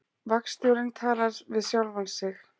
Vagnstjórinn talar við sjálfan sig